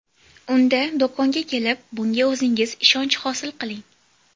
Unda do‘konga kelib, bunga o‘zingiz ishonch hosil qiling!